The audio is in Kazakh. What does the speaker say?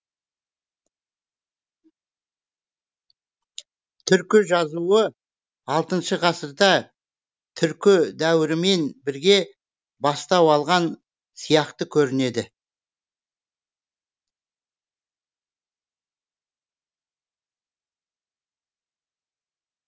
түркі жазуы алтыншы ғасырда түркі дәуірімен бірге бастау алған сияқты көрінеді